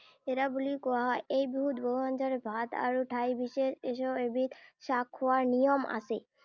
এৰা বুলিও কোৱা হয়। এই বিহুত বহু আঞ্জাৰে ভাত আৰু ঠাই বিশেষ এশ এবিধ শাক খোৱাৰ নিয়ম আছে।